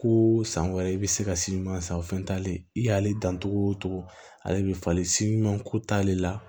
Ko san wɛrɛ i bɛ se ka san o fɛn t'ale i y'ale dan cogo o cogo ale bɛ falen ko t'ale la